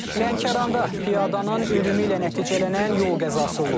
Lənkəranda piyadanın ölümü ilə nəticələnən yol qəzası olub.